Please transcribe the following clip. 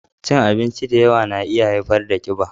Cin abinci da yawa na iya haifar da ƙiba